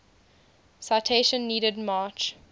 citation needed march